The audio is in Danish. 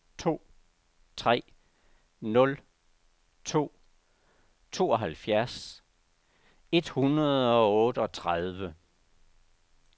to tre nul to tooghalvfjerds et hundrede og otteogtredive